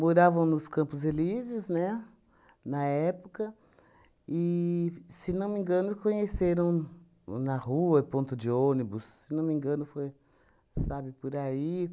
Moravam nos Campos Elíseos, né, na época, e, se não me engano, conheceram na rua, ponto de ônibus, se não me engano, foi, sabe, por aí.